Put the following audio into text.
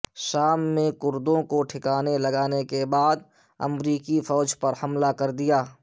شام میں کردوں کو ٹھکانے لگانے کے بعد امریکی فوج پر حملہ کر دیا